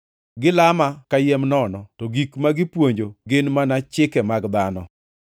Gilama kayiem nono, to gik ma gipuonjo gin mana chike mag dhano.’ + 7:7 \+xt Isa 29:13\+xt*